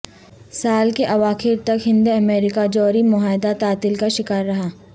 سال کے اواخر تک ہند امریکہ جوری معاہدہ تعطل کا شکار رہا